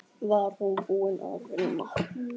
Var hún búin að vinna?